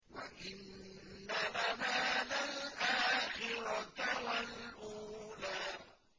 وَإِنَّ لَنَا لَلْآخِرَةَ وَالْأُولَىٰ